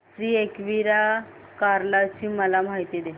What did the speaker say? श्री एकविरा कार्ला ची मला माहिती दे